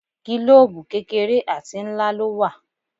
Gílòòbù kékeré àti ńlá ló wà.